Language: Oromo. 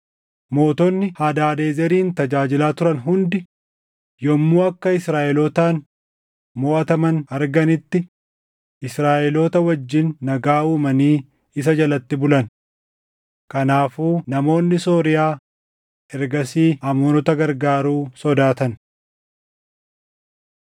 Mootonni Hadaadezerin tajaajilaa turan hundi yommuu akka Israaʼelootaan moʼataman arganitti, Israaʼeloota wajjin nagaa uumanii isa jalatti bulan. Kanaafuu namoonni Sooriyaa ergasii Amoonota gargaaruu sodaatan.